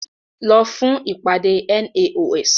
Lọ fún ìpàdé NAOS!